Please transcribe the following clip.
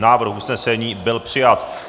Návrh usnesení byl přijat.